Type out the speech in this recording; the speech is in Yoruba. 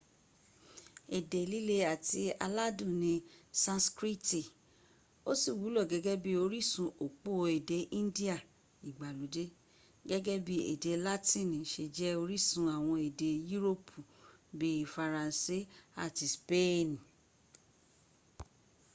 ede lile ati aladun ni sanskriti o ti wulo gege bi orisun opo ede indiya igbalode gege bii ede latini se je orisun awon ede yuropi bii faranse ati speen